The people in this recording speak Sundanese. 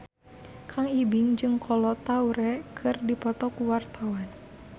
Kang Ibing jeung Kolo Taure keur dipoto ku wartawan